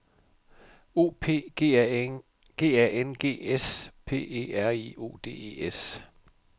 O P G A N G S P E R I O D E S